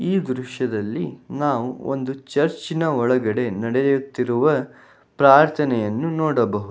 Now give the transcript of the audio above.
ಈ ದೃಶ್ಯದಲ್ಲಿ ನಾವು ಒಂದು ಚರ್ಚ್ನ ಒಳಗಡೆ ನಡೆಯುತ್ತಿರುವ ಪ್ರಾರ್ಥನೆಯನ್ನು ನೋಡಬಹುದು.